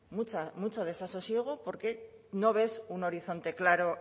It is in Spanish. mucho desasosiego porque no ves un horizonte claro